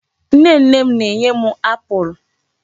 Nne nne m na-enye m apụl.